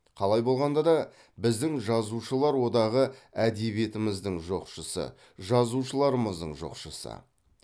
қалай болғанда да біздің жазушылар одағы әдебиетіміздің жоқшысы жазушылармыздың жоқшысы